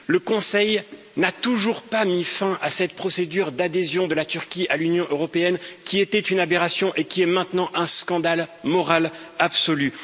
Le Conseil n'a toujours pas mis fin à cette procédure d'adhésion de la Turquie à l'Union européenne, qui était une aberration et qui est maintenant un scandale moral absolu.